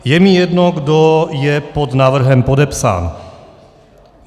Je mi jedno, kdo je pod návrhem podepsán.